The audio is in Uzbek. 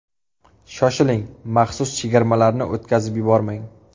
Shoshiling, maxsus chegirmalarni o‘tkazib yubormang!